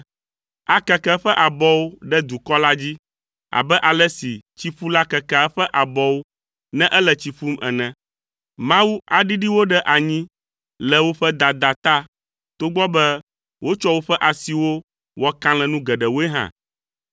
Akeke eƒe abɔwo ɖe dukɔ la dzi abe ale si tsiƒula kekea eƒe abɔwo ne ele tsi ƒum ene. Mawu aɖiɖi wo ɖe anyi le woƒe dada ta togbɔ be wotsɔ woƒe asiwo wɔ kalẽnu geɖewoe hã.